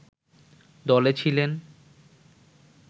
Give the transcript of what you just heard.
দলে ছিলেন